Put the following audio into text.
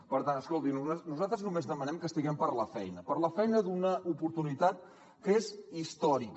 per tant escolti nosaltres només demanem que estiguem per la feina per la feina d’una oportunitat que és històrica